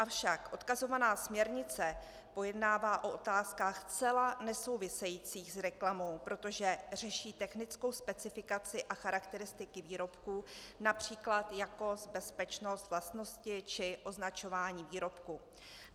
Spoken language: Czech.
Avšak odkazovaná směrnice pojednává o otázkách zcela nesouvisejících s reklamou, protože řeší technickou specifikaci a charakteristiky výrobků, například jakost, bezpečnost, vlastnosti či označování výrobků.